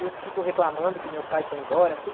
Eu fico reclamando que meu pai foi embora, tudo.